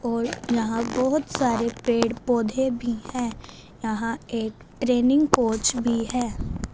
और यहां बहोत सारे पेड़ पौधे भी है यहां एक ट्रेनिंग कोच भी है।